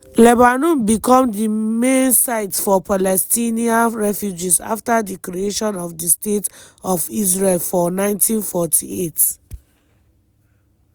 lebanon become di main site for palestinian refugees afta di creation of di state of israel for 1948.